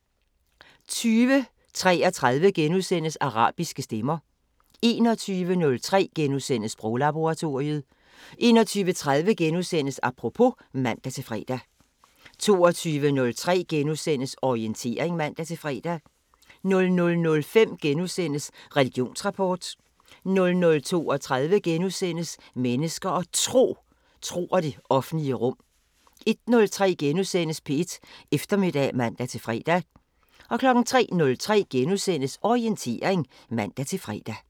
20:33: Arabiske stemmer * 21:03: Sproglaboratoriet * 21:30: Apropos *(man-fre) 22:03: Orientering *(man-fre) 00:05: Religionsrapport * 00:32: Mennesker og Tro: Tro og det offentlige rum * 01:03: P1 Eftermiddag *(man-fre) 03:03: Orientering *(man-fre)